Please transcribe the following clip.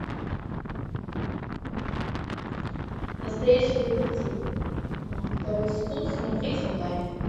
настоящий детектив второй сезон смотреть онлайн